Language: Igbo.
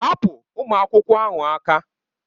Hapụ ụmụ akwụkwọ ahụ aka!